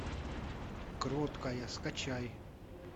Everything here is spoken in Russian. кроткая скачай